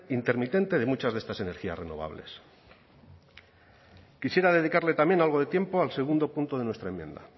intermitente de muchas de estas energías renovables quisiera dedicarle también algo de tiempo al segundo punto de nuestra enmienda